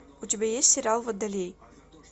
у тебя есть сериал водолей